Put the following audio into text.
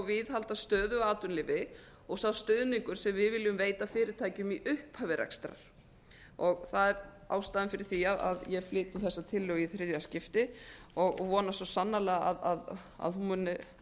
viðhalda stöðugu atvinnulífi og sá stuðningur sem við viljum veita fyrirtækjum í upphafi rekstrar það er ástæðan fyrir því að ég flyt þessa tillögu í þriðja skipti og vona svo sannarlega að hún muni